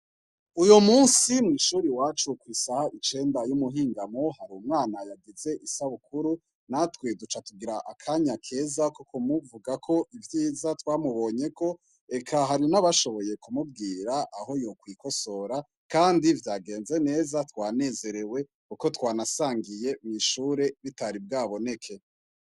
Uyu musi mwishure iwacu isaha icenda yumuhingamo hari umwana yagize isabukuru natwe tucatugira akanya keza ko kumuvugako ivyiza twamubonyeko eka hari nabashoboye kumubwira aho yokwikosora kandi vyagenze neza twanezerewe kuko twanasangiye mwishure bitari bwaboneke